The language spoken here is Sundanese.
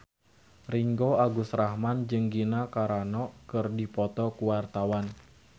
Ringgo Agus Rahman jeung Gina Carano keur dipoto ku wartawan